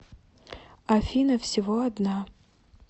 афина всего одна